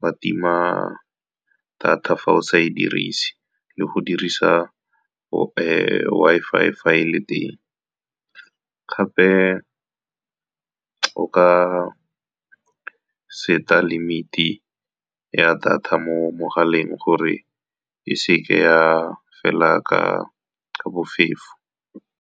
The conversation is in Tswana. wa tima data fa o sa e dirise, le go dirisa Wi-Fi fa e le teng. Gape, o ka set-a limit-e ya data mo mogaleng gore e seke ya fela ka bofefo.